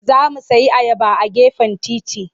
Za mu sayi ayaba a gefen titi.